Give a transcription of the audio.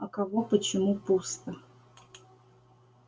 а кого почему пусто